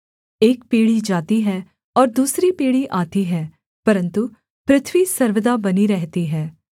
एक पीढ़ी जाती है और दूसरी पीढ़ी आती है परन्तु पृथ्वी सर्वदा बनी रहती है